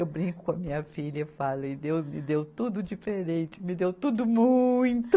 Eu brinco com a minha filha e falo, e Deus me deu tudo diferente, me deu tudo muito.